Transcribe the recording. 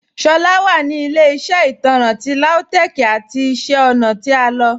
Shola wa ni ilẹ̀-iṣẹ́ itanrán ti Lautech's ati iṣẹ́ ọ̀na ti a lọ.